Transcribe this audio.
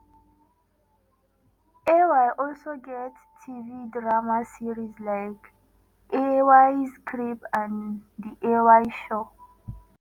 ay also get tv drama series like ay's crib and the ay show.